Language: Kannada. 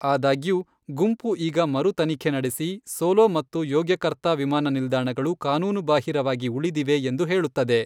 ಆದಾಗ್ಯೂ, ಗುಂಪು ಈಗ ಮರು ತನಿಖೆ ನಡೆಸಿ ಸೋಲೋ ಮತ್ತು ಯೋಗ್ಯಕರ್ತಾ ವಿಮಾನ ನಿಲ್ದಾಣಗಳು ಕಾನೂನುಬಾಹಿರವಾಗಿ ಉಳಿದಿವೆ ಎಂದು ಹೇಳುತ್ತದೆ.